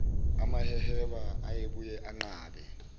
amaheheba ayebuye anqabe